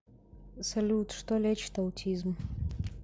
салют что лечит аутизм